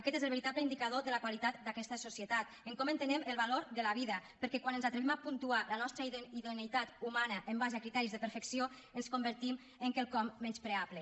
aquest és el veritable indicador de la qualitat d’aquesta societat en com entenem el valor de la vida perquè quan ens atrevim a puntuar la nostra idoneïtat humana en base a criteris de perfecció ens convertim en quelcom menyspreable